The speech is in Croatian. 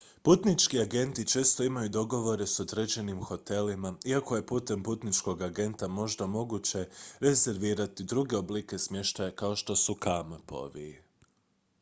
putnički agenti često imaju dogovore s određenim hotelima iako je putem putničkog agenta možda moguće rezervirati druge oblike smještaja kao što su kampovi